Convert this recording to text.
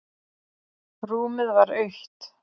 Rúmið var autt.